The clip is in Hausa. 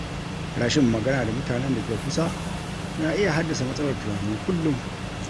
Rashin magana da mutanen da ke kusa na iya haddasa matsalar tunani kullum.